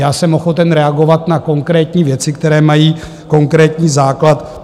Já jsem ochoten reagovat na konkrétní věci, které mají konkrétní základ.